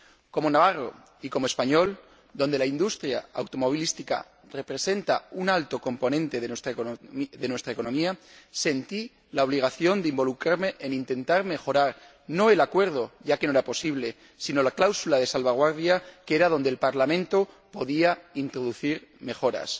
Como navarro y como español, donde la industria automovilística representa un alto componente de nuestra economía, sentí la obligación de involucrarme en intentar mejorar, no el Acuerdo, ya que no era posible, sino la cláusula de salvaguardia, que era donde el Parlamento podía introducir mejoras.